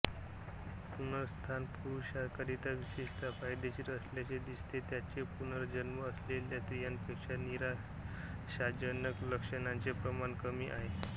पुनरुत्थान पुरुषांकरिता विशेषतः फायदेशीर असल्याचे दिसते ज्याचे पुनर्जन्म असलेल्या स्त्रियांपेक्षा निराशाजनक लक्षणांचे प्रमाण कमी आहे